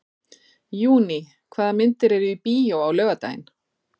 Júní, hvaða myndir eru í bíó á laugardaginn?